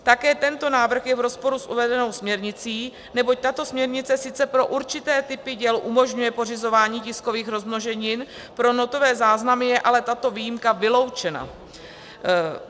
Také tento návrh je v rozporu s uvedenou směrnicí, neboť tato směrnice sice pro určité typy děl umožňuje pořizování tiskových rozmnoženin, pro notové záznamy je ale tato výjimka vyloučena.